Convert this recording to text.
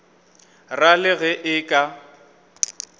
ra le ge e ka